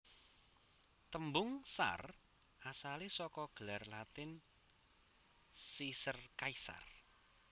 Tembung tsar asalé saka gelar Latin Caesar Kaisar